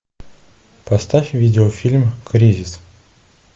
поставь видеофильм кризис